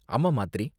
ஆமா மாத்ரி.